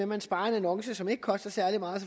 man sparer en annonce som ikke koster særlig meget